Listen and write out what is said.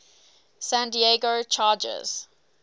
san diego chargers